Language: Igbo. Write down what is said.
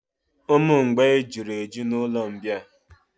Ụmụ mgbei juru eju na'ụlọ mbịà